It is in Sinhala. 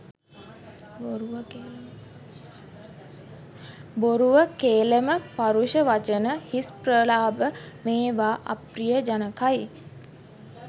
බොරුව, කේලම, පරුෂ වචන, හිස් ප්‍රලාප මේවා අප්‍රිය ජනකයි.